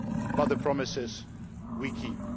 but the promises we keep.